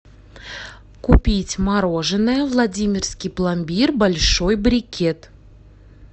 купить мороженое владимирский пломбир большой брикет